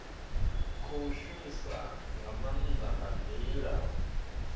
khou shumisa maanda nga ndila